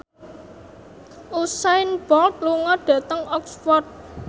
Usain Bolt lunga dhateng Oxford